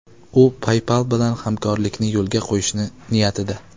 U PayPal bilan hamkorlikni yo‘lga qo‘yish niyatida.